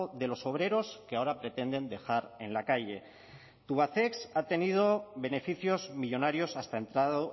de los obreros que ahora pretenden dejar en la calle tubacex ha tenido beneficios millónarios hasta entrado